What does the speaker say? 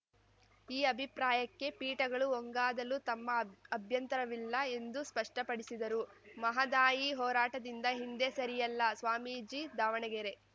ಈ ಅಭಿಪ್ರಾಯಕ್ಕೆ ಪೀಠಗಳು ಒಂಗಾದಲು ತಮ್ಮ ಅಭ್ಯಂತರವಿಲ್ಲ ಎಂದು ಸ್ಪಷ್ಟಪಡಿಸಿದರು ಮಹದಾಯಿ ಹೋರಾಟದಿಂದ ಹಿಂದೆ ಸರಿಯಲ್ಲ ಸ್ವಾಮೀಜಿ ದಾವಣಗೆರೆ